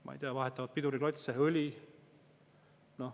Ma ei tea, vahetavad piduriklotse ja õli.